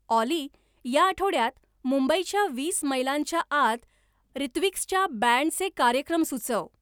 ऑली या आठवड्यात मुंबईच्या वीस मैलांच्या आत रित्विक्सच्या बँडचे कार्यक्रम सुचव